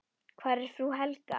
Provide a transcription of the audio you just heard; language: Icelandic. Hvar er frú Helga?